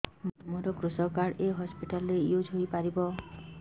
ମୋର କୃଷକ କାର୍ଡ ଏ ହସପିଟାଲ ରେ ୟୁଜ଼ ହୋଇପାରିବ